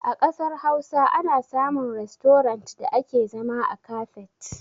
A ƙasar Hausa ana samun rastorant da ake zama a kafet.